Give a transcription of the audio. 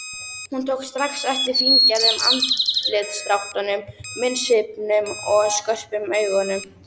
Hún tók strax eftir fíngerðum andlitsdráttunum, munnsvipnum og skörpum augunum.